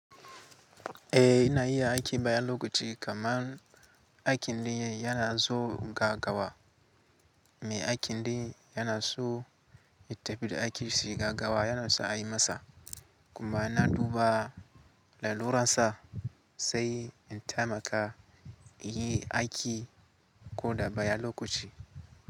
Eh ina iya aiki bayan lokaci kamar aikin da yana so gaggawa. Me aikin da yana so ya tafi da aikin shi gaggawa yana so a yi masa kuma na duba lalurar sa sai in taimaka inyi aiki ko da bayan lokaci.